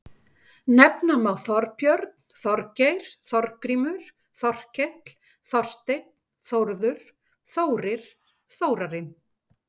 Nefna má Þorbjörn, Þorgeir, Þorgrímur, Þorkell, Þorsteinn, Þórður, Þórir, Þórarinn.